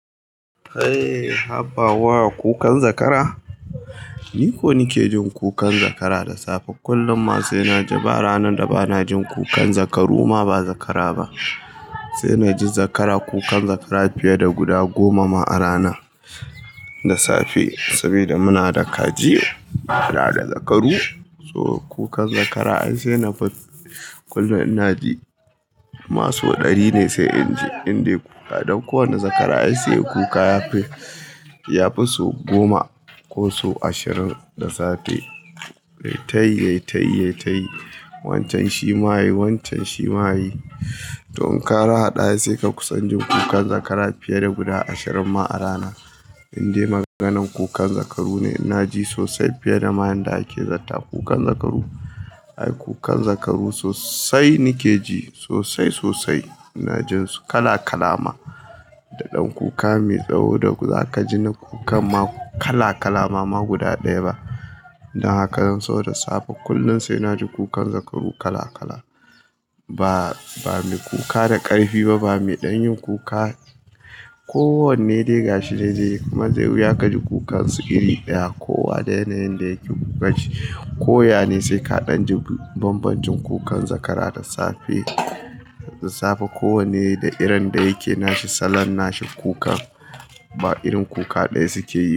Eh, habawa kukan zakara? Ni ko nike jin kukan zakara da safe. Kullum ma sai naji. Ba ranar da bana jin kukan zakaru ma ba zakara ba. Sai naji zakara, kukan zakara fiye da guda goma ma a rana, da safe. Saboda muna da kaji, muna da zakaru, so kukan zakara sai na, Kullum naji. Masu kokari ne sai inji indai kuka. Don kowane zakara ai sai kuka yafi so goma ko so ashirin da safe. Yai tayi, ya tayi, ya tayi. Wancen shima yayi, wancen shima yayi. Toh in ka harhada sai ka kusan jin kukan zakara fiye da guda ashirin ma a rana. Indai maganan kukan zakaru ne. Naji sosai fiye da ma yanda ake zata kukan zakaru. Ai kukan zakaru sosai nike ji sosai sosai. Ina jin su kala kalama. Dadan kuka mai tsawo da za kaji wani kukan ma kala kalama ba ma guda ɗaya ba. Dan haka zan so da safe kullum sai naji kukan zakaru kala kala. Ba me kuka da ƙarfi ba, ba me ɗan yin kuka. Ko wanne dai gashi dai kuma zai wuya ka ji kukansu iri ɗaya. Kowa da yanayin da yake kuka shi. Koya ne sai ka ɗan ji bambancin kukan zakara da safe. Ko wanne da irin da yake nashi salon nashi kuka. Ba irin kuka ɗaya suke yi ba.